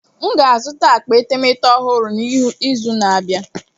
M ga-azụta akpa etemeete ọhụrụ n'izu na-abịa.